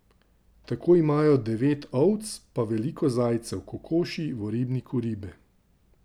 Tako imajo devet ovc pa veliko zajcev, kokoši, v ribniku ribe ...